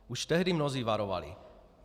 Už tehdy mnozí varovali.